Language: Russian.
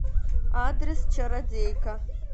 адрес чародейка